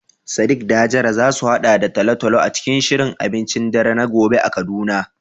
Shin Sadiq da Hajara za su haɗa da talo-talo a cikin shirin abincin dare na gobe a Kaduna?